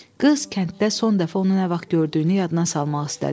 Qız kənddə son dəfə onu nə vaxt gördüyünü yadına salmaq istədi.